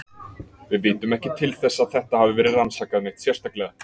Við vitum ekki til þess að þetta hafi verið rannsakað neitt sérstaklega.